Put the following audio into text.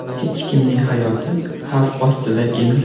Hech kimning hayoti xavf ostida emas.